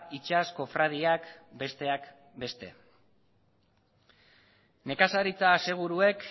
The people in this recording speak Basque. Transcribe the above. itsas kofradiak besteak beste nekazaritza aseguruek